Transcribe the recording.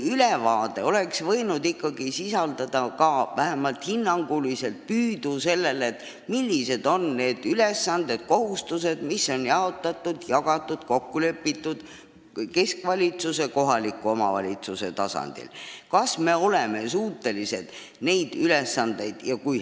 Aruanne oleks võinud ikkagi sisaldada ka hinnangut, millised on keskvalitsuse ja kohalike omavalitsuste kokku lepitud ülesanded, kohustused ning kui hästi on suudetud neid täita.